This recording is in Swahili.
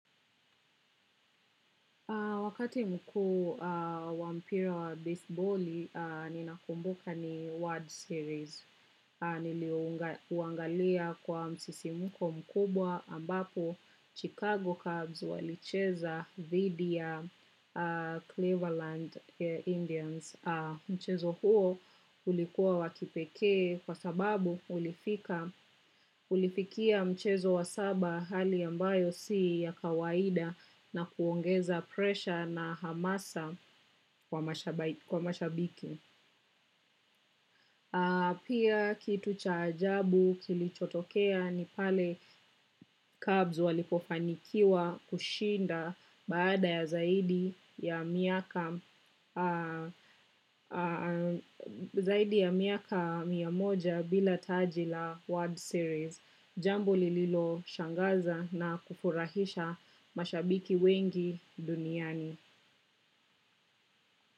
Wakati mkuu wa mpira wa besiboli, nina kumbuka ni word series. Niliuangalia kwa msisimko mkubwa ambapo Chicago Cubs walicheza dhidi ya Cleveland Indians. Mchezo huo ulikuwa wa kipekee kwa sababu ulifikia mchezo wa saba hali ambayo si ya kawaida na kuongeza presha na hamasa kwa mashabiki. Pia kitu cha ajabu kilichotokea ni pale cubs walipofanikiwa kushinda baada ya zaidi ya zaidi ya miaka mia moja bila taji la World Series. Jambo lililoshangaza na kufurahisha mashabiki wengi duniani.